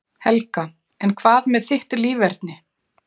Helga: En hvað með þitt líferni?